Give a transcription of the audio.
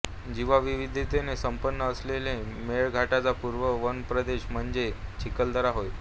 जीवविविधतेने संपन्न असलेल्या मेळघाटचा पूर्व वनप्रदेश म्हणजे चिखलदरा होय